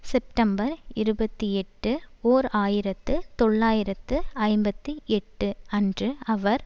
September இருபத்தி எட்டு ஓர் ஆயிரத்து தொள்ளாயிரத்து ஐம்பத்தி எட்டு அன்று அவர்